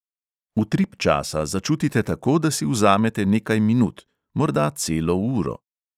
Utrip časa začutite tako, da si vzamete nekaj minut, morda celo uro.